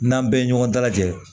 N'an bɛɛ ye ɲɔgɔn dalajɛ